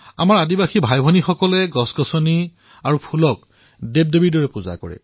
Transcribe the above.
আমাৰ আদিবাসী ভাইভনীসকলে গছবন আৰু ফুলৰ পূজা দেৱদেৱীৰ দৰে কৰে